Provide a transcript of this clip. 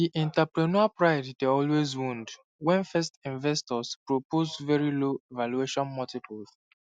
di entrepreneur pride dey always wound when first investors propose very low valuation multiples